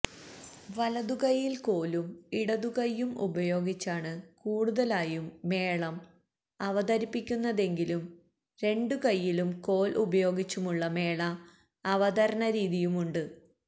വലതു കൈയിൽ കോലും ഇടതു കൈയ്യും ഉപയോഗിച്ചാണ് കൂടുതലായും മേളം അവതരിപ്പിക്കുന്നതെങ്കിലും രണ്ടു കൈയിലും കോൽ ഉപയോഗിച്ചുമുള്ള മേള അവതരണരീതിയുമുണ്ട്